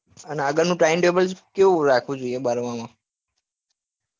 અને આગળ નું time table કેવું રાખવું જોઈએ બારમાં માં ?